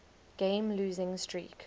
game losing streak